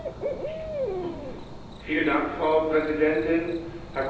Frau Präsidentin, Herr Kommissar, lieber Michael Cashman!